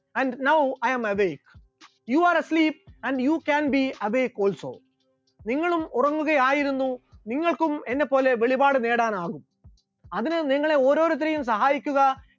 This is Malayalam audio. and now I am awake, you are asleep and you can be asleep also നിങ്ങളും ഉറങ്ങുകയായിരുന്നു നിങ്ങൾക്കും എന്നെപോലെ വെളിപാടുകൾ നേടാനാകും, അതിന് നിങ്ങളെ ഓരോരുത്തരെയും സഹായിക്കുക